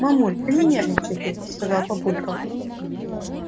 мамуль да не нервничай ты сказал папулька